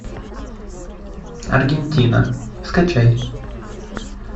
аргентина скачай